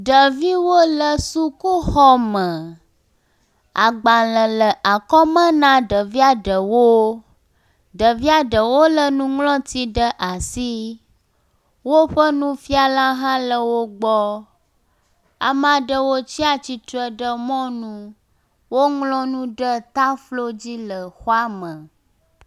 Ɖeviwo le sukuxɔ me. Agbalẽ le akɔme na ɖevia ɖewo. Ɖevia ɖewo lé nuŋlɔti ɖe asi. Woƒe nufiala hã le wo gbɔ. Ame aɖewo tsi atsitre ɖe mɔnu. Woŋlɔ nu ɖe taflo dzi le xɔa me.